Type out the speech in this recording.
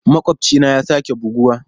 Makwabcina ya sake buguwa.